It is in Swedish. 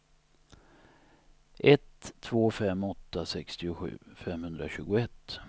ett två fem åtta sextiosju femhundratjugoett